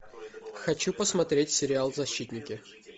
хочу посмотреть сериал защитники